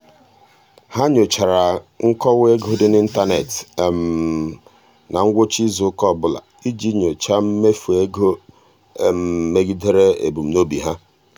ha nyochara nkọwa ego dị n'ịntanet na ngwụcha izuụka ọbụla iji nyochaa mmefu ego megidere ebumnobi ha.